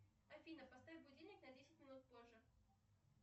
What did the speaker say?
афина поставь будильник на десять минут позже